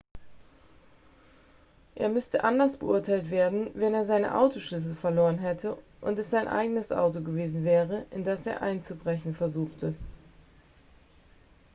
er müsste anders beurteilt werden wenn er seine autoschlüssel verloren hätte und es sein eigenes auto gewesen wäre in dass er einzubrechen versuchte